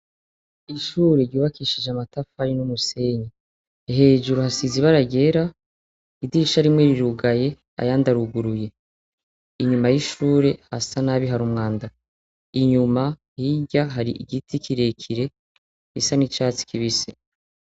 ishure rubakishije amatafari n'umusenyi hejuru hasize ibara ryera idirisha rimwe rirugaye ayandaruguruye inyuma y'ishure hasa nabi hari umwanda inyuma hirya hari igiti kirekire bisa n'icatsi kibise